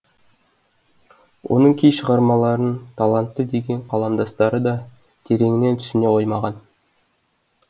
оның кей шығармаларын талантты деген қаламдастары да тереңінен түсіне қоймаған